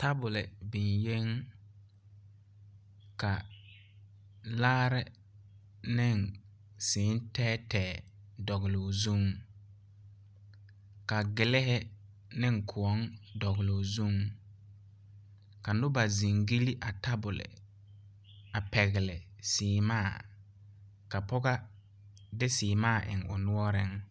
Tabolehi biŋyeŋ ka laare neŋ sèè tɛɛtɛɛ dɔgloo zuŋ ka giliihi neŋ kõɔŋ dɔgloo zuŋ ka noba zing gyille a tabole a pɛgle sèèmaa ka pɔgɔ de sèèmaa eŋnɛ o noɔreŋ.